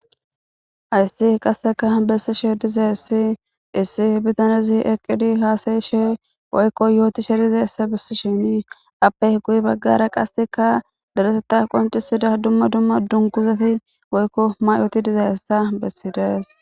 Ayssi qasseka bessishe dizeessi issi bitanezi eqqidi haasayishe woykko yooti she dizeessa bissi shinii appeh guyi baggara qasseka daretetta qoncisida dumma dumma dunkuzati woykko may7ooti dizayessa bessidees.